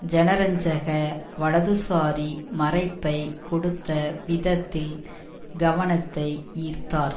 ஜனரஞ்சக வலதுசாரி மறைப்பை கொடுத்த விதத்தில் கவனத்தை ஈர்த்தார்